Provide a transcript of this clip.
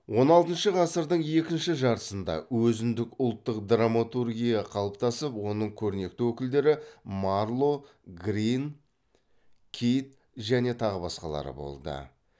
он алтыншы ғасырдың екінші жартысында өзіндік ұлттық драматургия қалыптасып оның көрнекті өкілдері марло грин кид және тағы басқалары болды